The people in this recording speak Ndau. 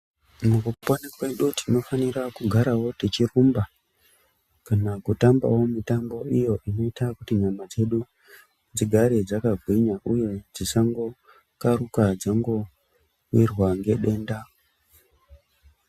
Mukupona kwedu tinofanira kugarawo techirumba, kana kutambawo mutambo iyo inoita kuti nyama dzedu dzigare dzakagwinya, uye dzisangokharuka dzangowirwa ngedenda.